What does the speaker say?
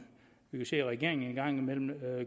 vi kan se at regeringen engang imellem